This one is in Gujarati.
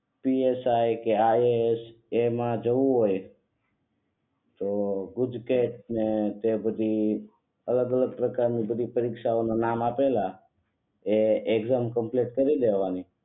પી એસ આય કે આય એ એસ એમાં જવું હોય તો પછી ગુજકેટ ને તે બધી અલગ અલગ પ્રકારની બધી પરીક્ષાઓ ના નામ આપેલા એ એકઝામ કમ્પ્લીટ કરી લેવાની